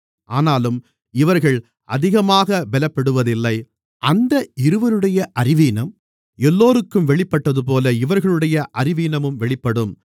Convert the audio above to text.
ஆனாலும் இவர்கள் அதிகமாகப் பலப்படுவதில்லை அந்த இருவருடைய அறிவீனம் எல்லோருக்கும் வெளிப்பட்டதுபோல இவர்களுடைய அறிவீனமும் வெளிப்படும்